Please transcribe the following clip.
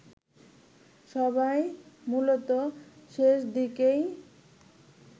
সবাই মূলত শেষদিকেই